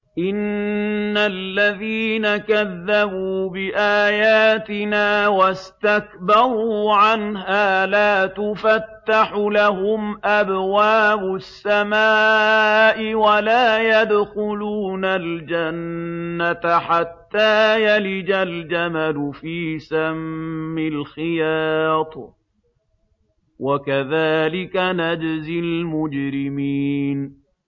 إِنَّ الَّذِينَ كَذَّبُوا بِآيَاتِنَا وَاسْتَكْبَرُوا عَنْهَا لَا تُفَتَّحُ لَهُمْ أَبْوَابُ السَّمَاءِ وَلَا يَدْخُلُونَ الْجَنَّةَ حَتَّىٰ يَلِجَ الْجَمَلُ فِي سَمِّ الْخِيَاطِ ۚ وَكَذَٰلِكَ نَجْزِي الْمُجْرِمِينَ